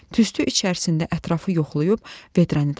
Tüstü içərisində ətrafı yoxlayıb vedrəni tapdım.